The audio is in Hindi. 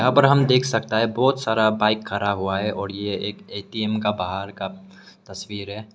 यहां पर हम देख सकता है बहुत सारा बाइक खड़ा हुआ है और यह एक ए_टी_एम का बाहर का तस्वीर है।